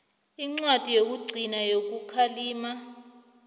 incwadi yokugcina yokukhalima